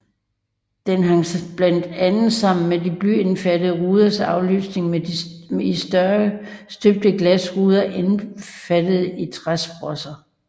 Det hang blandt andet sammen med de blyindfattede ruders afløsning med i større støbte glasruder indfattede i træsprosser